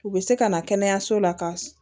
U bɛ se ka na kɛnɛyaso la ka